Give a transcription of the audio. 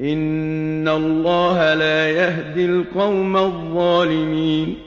إِنَّ اللَّهَ لَا يَهْدِي الْقَوْمَ الظَّالِمِينَ